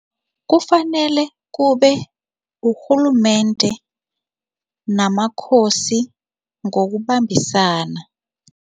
Kufanele kube ngurhulumende namakhosi ngokubambisana.